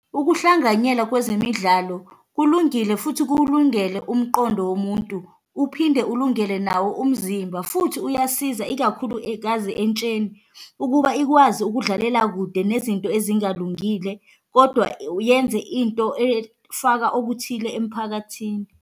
Ukuhlanganyela kwezemidlalo kulungile futhi kuwulungele umqondo womuntu, uphinde ulungele nawo umzimba, futhi uyasiza ikakhulukaze entsheni ukuba ikwazi ukudlalela kude nezinto ezingalungile, kodwa yenze into efaka okuthile emphakathini.